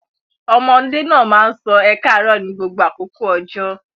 Ọmọdé náà máa sọ ẹ káàárọ̀ ní gbogbo àkókò ọjọ́.